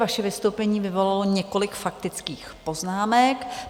Vaše vystoupení vyvolalo několik faktických poznámek.